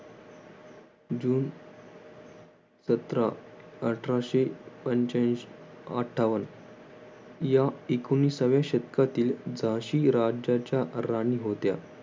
जून सतरा अठराशे पंच्यांशी अठ्ठावन्न या एकोणविसाव्या शतकातील झाशी राज्याच्या राणी होत्या.